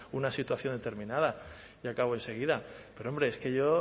una situación determinada y acabo enseguida pero hombre es que yo